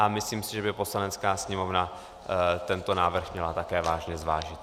A myslím si, že by Poslanecká sněmovna tento návrh měla také vážně zvážit.